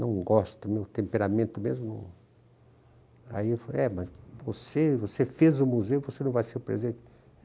Não gosto, meu temperamento mesmo ... Aí eu falei, é, mas você fez o museu, você não vai ser o presidente?